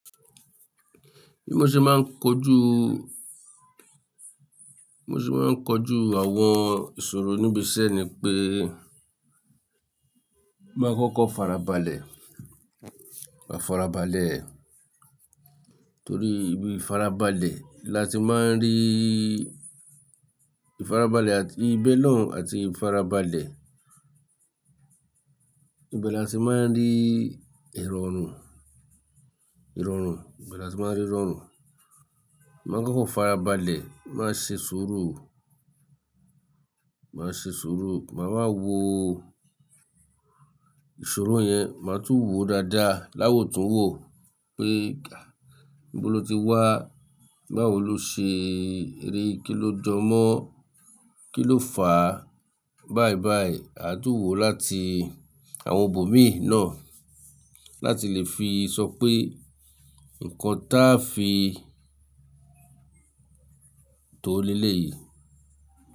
Bí mo ṣe máa ń kojú, bi mo se máa ń kojú àwọn ìṣòro níbi iṣẹ́ ni pé máa kọ́kọ́ farabalẹ̀, máa farabalẹ̀, torí ibi farabalẹ̀ la ti máa ń rí, ìfarabalẹ̀ àti ibẹ̀ lòun àti ìfarabalẹ̀, ibẹ̀ la ti máa ń rí ìrọ̀rùn, ìrọ̀rùn, ibẹ̀ la ti máa ń rí ìrọ̀rùn. Máa kọ́kọ́ farabalẹ̀, máa ṣe ṣuru, máa ṣe ṣuru, màá wa wò ọ, ìṣòro yen máa tún wo dáadá la wo tún wo pé níbo lo ti wá, báwo lo ṣe rí i, kí ló jọ mọ́, kí ló fà á, báibái. A tún wò ó láti àwọn bòmíì náà láti lè fi sọ pé nǹkan ta fi tó leleyìí.